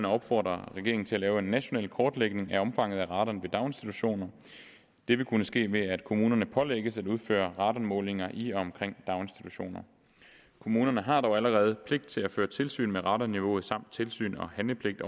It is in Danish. opfordrer regeringen til at lave en national kortlægning af omfanget af radon ved daginstitutioner det vil kunne ske ved at kommunerne pålægges at udføre radonmålinger i og omkring daginstitutioner kommunerne har dog allerede pligt til at føre tilsyn med radonniveauet samt tilsyns og handlepligt